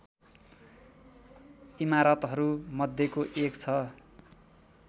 इमारतहरू मध्येको एक छ